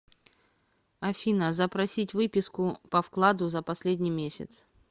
афина запросить выписку по вкладу за последний месяц